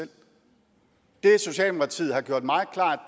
er det socialdemokratiet har gjort meget klart